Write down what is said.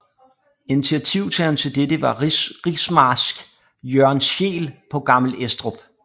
Initiativtageren til dette var rigsmarsk Jørgen Scheel på Gammel Estrup